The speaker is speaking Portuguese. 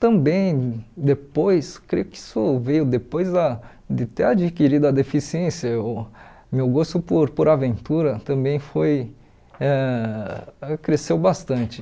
Também depois, creio que isso veio depois da de ter adquirido a deficiência, meu gosto por por aventura também foi ãh cresceu bastante.